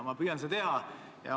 Ma püüan seda teha.